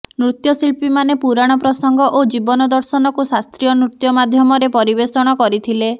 ନୃତ୍ୟଶିଳ୍ପୀମାନେ ପୁରାଣ ପ୍ରସଙ୍ଗ ଓ ଜୀବନ ଦର୍ଶନକୁ ଶାସ୍ତ୍ରୀୟ ନୃତ୍ୟ ମାଧ୍ୟମରେ ପରିବେଷଣ କରିଥିଲେ